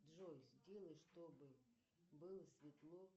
джой сделай чтобы было светло